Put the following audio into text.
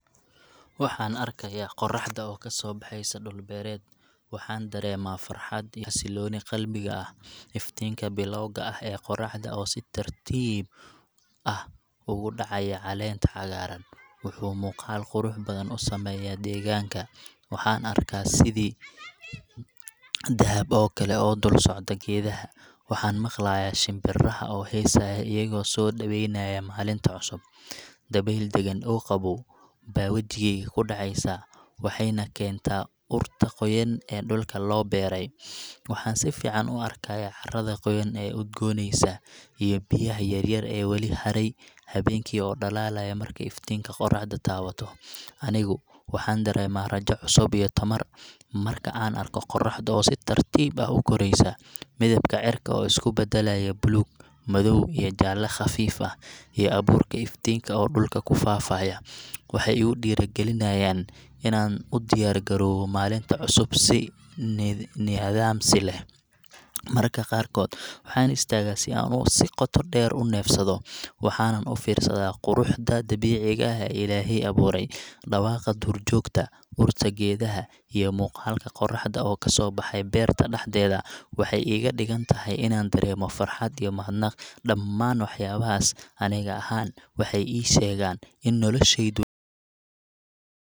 Waxaan arkayaa qorraxda oo ka soo baxaysa dhul beereed, waxaan dareemaa farxad iyo xasillooni qalbiga ah. Iftiinka bilowga ah ee qorraxda oo si tartiib ah ugu dhacaya caleenta cagaaran wuxuu muuqaal qurux badan u sameeyaa deegaanka. Waxaan arkaa sidii dahab oo kale oo dul socda geedaha, waxaana maqlayaa shimbiraha oo heesaya, iyagoo soo dhaweenaya maalinta cusub. Dabayl deggen oo qabow baa wejigayga ku dhacaysa, waxayna keentaa urta qoyan ee dhulka loo beeray. Waxaan si fiican u arkayaa carada qoyan ee udgoonaysa, iyo biyaha yaryar ee weli haray habeenkii oo dhalaalaya markay iftiinka qorraxdu taabato. Anigu waxaan dareemaa rajo cusub iyo tamar marka aan arko qorraxda oo si tartiib ah u koraysa. Midabka cirka oo isku beddelaya buluug madow ilaa jaalle khafiif ah, iyo abuurka iftiinka oo dhulka ku faafaya, waxay igu dhiirrigeliyaan inaan u diyaar garoobo maalinta cusub si niyadsami leh. Marka qaarkood waxaan istaagaa si aan si qoto dheer u neefsado, waxaanan u fiirsadaa quruxda dabiiciga ah ee Ilaahay abuuray. Dhawaqa duurjoogta, urta geedaha, iyo muuqaalka qorraxda oo ka soo baxay beerta dhexdeeda waxay iga dhigaan inaan dareemo farxad iyo mahadnaq. Dhamaan waxyaabahaas, aniga ahaan, waxay ii sheegaan in noloshaydu.